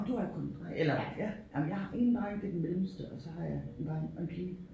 Du har kun eller ja jamen jeg har én dreng det den mellemste og så har jeg en dreng og en pige